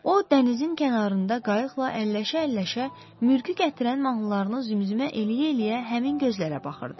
O dənizin kənarında qayıqla əlləşə-əlləşə mürgü gətirən mahnılarını zümzümə eləyə-eləyə həmin gözlərə baxırdı.